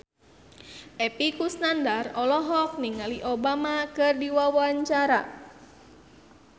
Epy Kusnandar olohok ningali Obama keur diwawancara